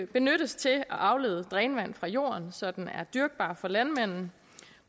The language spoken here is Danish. benyttes til at aflede drænvand fra jorden så den er dyrkbar for landmanden